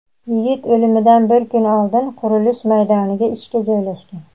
Yigit o‘limidan bir kun oldin qurilish maydoniga ishga joylashgan.